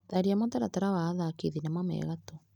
Tharia mũtaratara wa athaki thinema me gatũ.